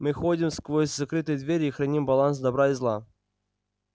мы ходим сквозь закрытые двери и храним баланс добра и зла